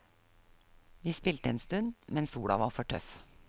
Vi spilte en stund, men sola var for tøff.